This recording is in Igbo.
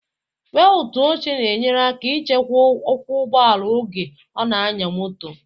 Beltu oche na enyere aka ịchekwaba okwu ụgbọala oge ọ na anya moto